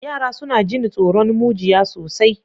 Yara suna jin tsoron mujiya sosai.